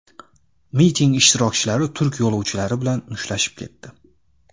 Miting ishtirokchilari turk yo‘lovchilari bilan mushtlashib ketdi.